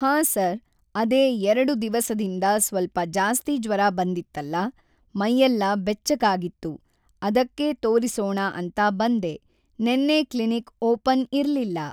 ಹಾಂ ಸರ್‌ ಅದೇ ಎರಡು ದಿವಸದಿಂದ ಸ್ವಲ್ಪ ಜಾಸ್ತಿ ಜ್ವರ ಬಂದಿತ್ತಲ್ಲ ಮೈಯೆಲ್ಲ ಬೆಚ್ಚಗಾಗಿತ್ತು ಅದಕ್ಕೆ ತೋರಿಸೋಣ ಅಂತ ಬಂದೆ ನೆನ್ನೆ ಕ್ಲಿನಿಕ್‌ ಓಪನ್‌ ಇರಲಿಲ್ಲ